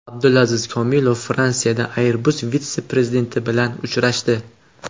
Abdulaziz Komilov Fransiyada Airbus vitse-prezidenti bilan uchrashdi.